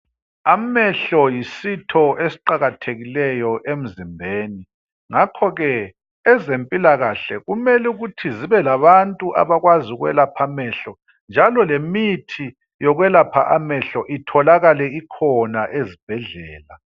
Amehlo yisitho esiqakathekileyo emzimbeni. Ngakho ke ezempilakhle kumele ukuthi zibelabantu abakwazi ukwelapha amehlo njalo lemithi yokwelapha amehlo itholakale ikhona ezibhedlela.